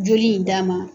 Joli in d'a ma